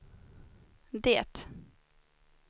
det